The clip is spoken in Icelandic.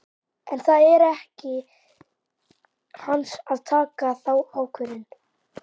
En það er ekki hans að taka þá ákvörðun.